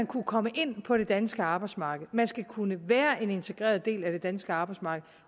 kunne komme ind på det danske arbejdsmarked man skal kunne være en integreret del af det danske arbejdsmarked